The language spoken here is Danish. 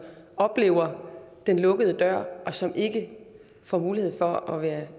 oplever den lukkede dør og som ikke får mulighed for at være